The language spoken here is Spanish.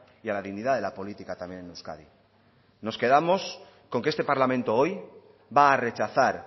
y a la dignidad de la política también en euskadi nos quedamos con que este parlamento hoy va a rechazar